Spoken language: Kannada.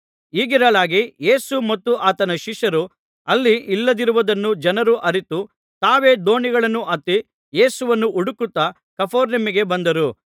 ಹೀಗಿರಲಾಗಿ ಯೇಸು ಮತ್ತು ಆತನ ಶಿಷ್ಯರು ಅಲ್ಲಿ ಇಲ್ಲದಿರುವುದನ್ನು ಜನರು ಅರಿತು ತಾವೇ ದೋಣಿಗಳನ್ನು ಹತ್ತಿ ಯೇಸುವನ್ನು ಹುಡುಕುತ್ತಾ ಕಪೆರ್ನೌಮಿಗೆ ಬಂದರು